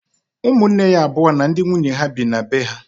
Ụmụnne ya abụọ na ndị nwunye ha bi na be ha.